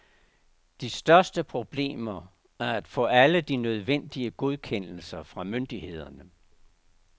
De største problemer er at få alle de nødvendige godkendelser fra myndigheder.